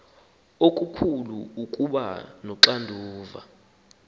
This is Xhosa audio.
okukhulu ukuba noxanduva